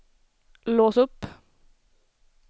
lås upp